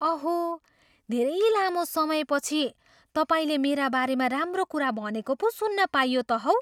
अहो! धेरै लामो समयपछि तपाईँले मेरा बारेमा राम्रो कुरा भनेको पो सुन्न पाइयो त हौ!